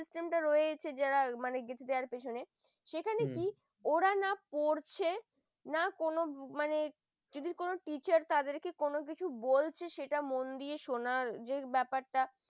system টা রয়েছে যারা মানে গেঁথে দেওয়ার পেছনে হম সেখানে কি ওরা না পড়ছে, না কোন মানে কি করে teacher তাদেরকে কোন কিছু বলছে মন দিয়ে সোনার যে ব্যাপারটা